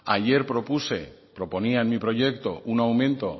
ayer propuse proponía en mi proyecto un aumento